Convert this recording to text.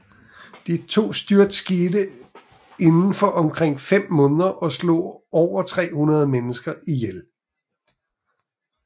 De to styrt skete indenfor 5 måneder og slog over 300 mennesker ihjel